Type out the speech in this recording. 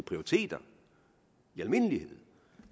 prioriteter i almindelighed